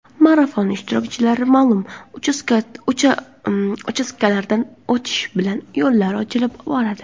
Marafon ishtirokchilari ma’lum uchastkalardan o‘tishi bilan yo‘llar ochila boradi.